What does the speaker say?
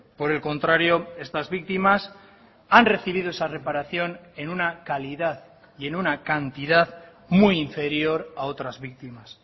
por el contrario estas víctimas han recibido esa reparación en una calidad y en una cantidad muy inferior a otras víctimas